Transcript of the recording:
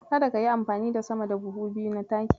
Kada kayi amfani da sama da buhu biyu na taki.